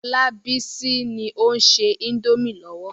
Olabisi ni ó ń se indomie lọ́wọ́.